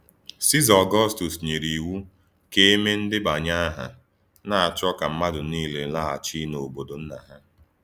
Siza Ọgọstọs nyere iwu ka e mee ndebanye aha, na-achọ ka mmadụ niile laghachi n’obodo nna ha.